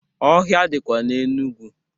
Ọhịa dịkwa n'Enugu.